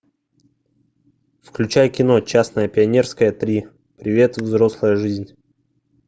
включай кино частное пионерское три привет взрослая жизнь